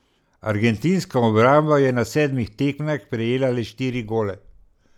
Argentinska obramba je na sedmih tekmah prejela le štiri gole.